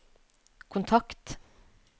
kontakt